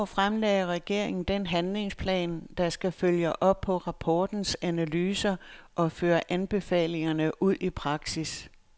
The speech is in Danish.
I går fremlagde regeringen den handlingsplan, der skal følge op på rapportens analyser og føre anbefalingerne ud i praksis.